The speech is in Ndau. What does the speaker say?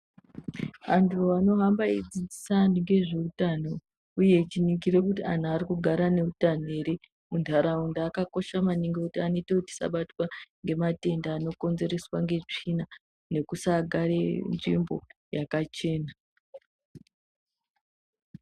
Andu anohamba eyidzidzisa andu ngezveutano uye echiningira kuti andu arikugara neutano ere mundaraunda akakosha maningi ngekuti anoyita kuti tisabatwa ngematenda anokonzereswa ngetsvina nekusagare nzvimbo yakachena.